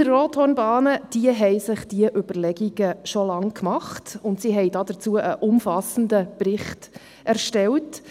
Die Brienz-Rothorn-Bahn hat sich diese Überlegungen schon lange gemacht und hat dazu einen umfassenden Bericht erstellt.